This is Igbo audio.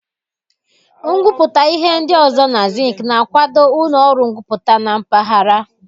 Ngwuputa ihe ndi ozo na zinc na-akwado ulo oru Ngwuputa na mpaghara.